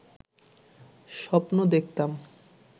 স্বপ্ন দেখতাম